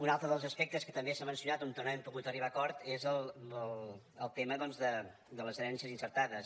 un altre dels aspectes que també s’ha mencionat on no hem pogut arribar a acord és el tema de les herències intestades